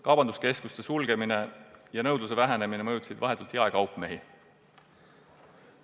Kaubanduskeskuste sulgemine ja nõudluse vähenemine mõjutasid vahetult jaekaupmehi.